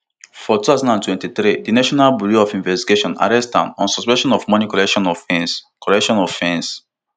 for two thousand and twenty-three di national bureau of investigation arrest am on suspicion of money collection offence collection offence